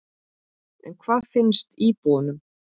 En hvað finnst íbúunum?